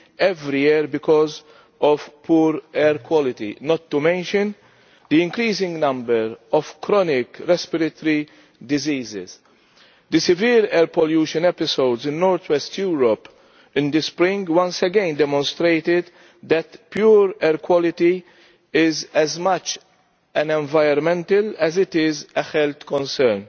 every year because of poor air quality, not to mention the increasing number of chronic respiratory diseases. The severe air pollution episodes in north west Europe in the spring once again demonstrated that pure air is as much an environmental as a health concern.